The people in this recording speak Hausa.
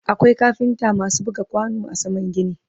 akwai kafinta maasu buga kwano a saman gini